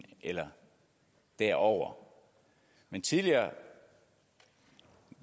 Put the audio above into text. eller derover men tidligere